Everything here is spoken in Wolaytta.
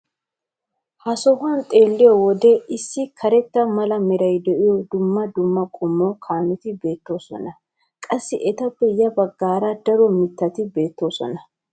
ha sohuwan xeelliyoode issi karetta mala meray de'iyo daro dumma dumma qommo kaameti beetoosona. qassi etappe ya bagaara daro mitati beetoosona.